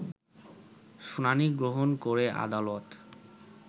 শুনানি গ্রহণ করে আদালত